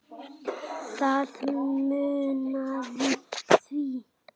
Það munaði því